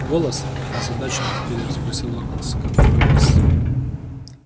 голос озадаченно переспросил локонс какой голос